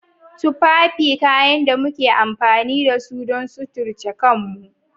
Tufafi kayan da muke amfani da su don suturce kanmu.